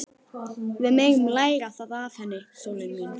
Við megum læra það af henni, sólin mín.